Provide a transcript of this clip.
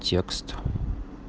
текст